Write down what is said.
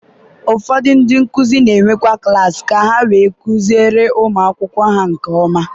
ụfọdụ ndị nkuzi na-enwekwu klaasị ka ha wee kụziere ụmụ akwụkwọ ha nke ọma.